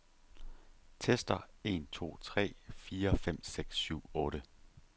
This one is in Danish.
Tester en to tre fire fem seks syv otte.